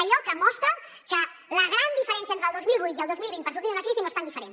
allò que mostra que la gran diferència entre el dos mil vuit i el dos mil vint per sortir d’una crisi no és tan diferent